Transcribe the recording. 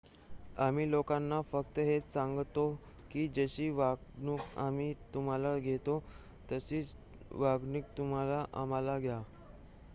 आम्ही लोकांना फक्त हेच सांगतो की जशी वागणूक आम्ही तुम्हाला देतो तशीच वागणूक तुम्ही आम्हाला द्या